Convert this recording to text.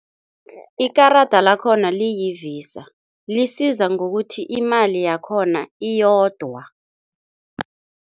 Ikarada lakhona liyivisa, lisiza ngokuthi imali yakhona iyodwa.